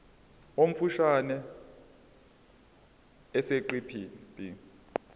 omfushane esiqeshini b